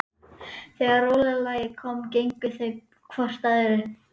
Þegar rólega lagið kom gengu þau hvort að öðru.